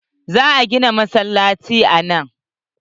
Za a gina masallaci a nan.